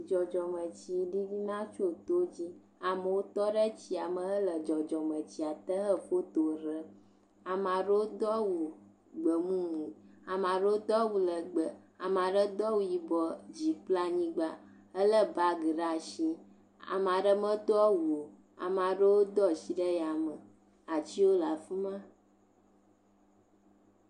Dzɔdzɔmetsi ɖiɖina tso to dzi. Amewo tɔ ɖe tsi ame hele dzɔdzɔmetsia te he foto ɖem. Ama ɖewo do awu gbemumu. Ama ɖewo do awu lɛgbɛ. Ama ɖe do awu yibɔ dzi kple anyigba helé baŋgi ɖaa shi. Ame aɖe medo awu o. ame aɖewo do ashi ɖe yame. Atsiwo le afi ma.